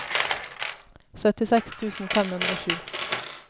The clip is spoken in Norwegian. syttiseks tusen fem hundre og sju